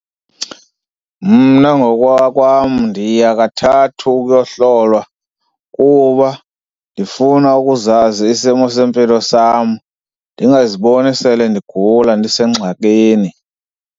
Mna ngokokwam ndiya kathathu ukuyohlolwa kuba ndifuna ukuzazi isimo sempilo sam, ndingaziboni sele ndigula ndisengxakini.